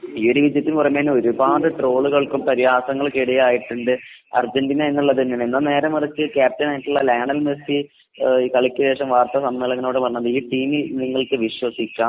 ഒരുപാട് ട്രോളുകൾക്കും പരിഹാസങ്ങൾക്കും ഇടയായിട്ടുണ്ട് അർജന്റീന . എന്നാൽ നേരെമറിച്ചു ക്യാപ്റ്റൻ ആയിട്ടുള്ള ലയണൽ മെസ്സി കളിക്ക് ശേഷം വാർത്താമാധ്യമങ്ങളോട് പറഞ്ഞത് ഈ ടീമിൽ നിങ്ങൾക്ക് വിശ്വസിക്കാം